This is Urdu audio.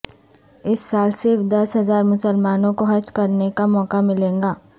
اس سال صرف دس ہزار مسلمانوں کو حج کرنے کا موقع ملے گا